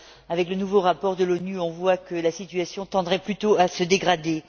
Avec le nouveau rapport de l'ONU, on voit que la situation tendrait plutôt à se dégrader.